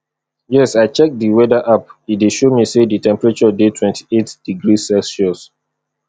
yes i check di weather app e dey show me say di temperature dey twenty-eight degrees celsius